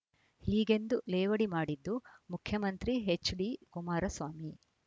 ಹೀಗೆಂದು ಲೇವಡಿ ಮಾಡಿದ್ದು ಮುಖ್ಯಮಂತ್ರಿ ಎಚ್‌ಡಿಕುಮಾರಸ್ವಾಮಿ